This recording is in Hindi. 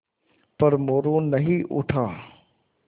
पर मोरू नहीं उठा